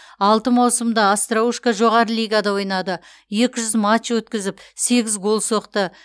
алты маусымда остроушко жоғары лигада ойнады екі жүз матч өткізіп сегіз гол соқты